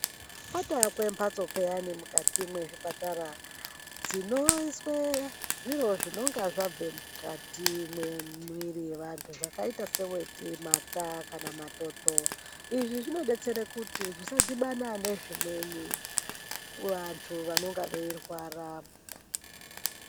Patoakwe mbatso peyani mukati mwezvipatara, dzinoiswe zviro zvinonga zvabve mukati mwemuiri yaantu zvakaita seweti, mata kana matoto. Izvi zvinodetsere kuti zvisadhibana nezvimweni kuantu vanenge veirwara.